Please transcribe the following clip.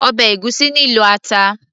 ọbẹ̀ ègúsí nílò ata